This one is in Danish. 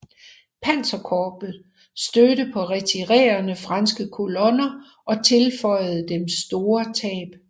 Panserkorpset stødte på retirerende franske kolonner og tilføjede dem store tab